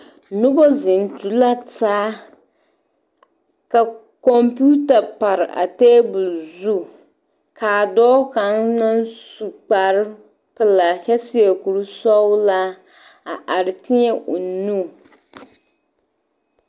Noba zeŋ tu la taa ka kɔmpeta pare a tabol zu ka dɔɔ kaŋ naŋ su kparepelaa kyɛ seɛ kurisɔglaa a are teɛ o nu.